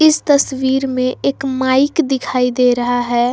इस तस्वीर में एक माइक दिखाई दे रहा है।